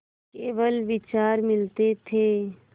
केवल विचार मिलते थे